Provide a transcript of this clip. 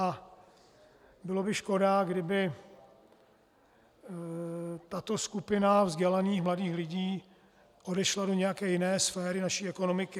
A byla by škoda, kdyby tato skupina vzdělaných mladých lidí odešla do nějaké jiné sféry naší ekonomiky.